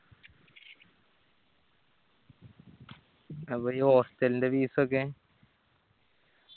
അപ്പോ ഈ hostel ന്റെ fees ഒക്കെ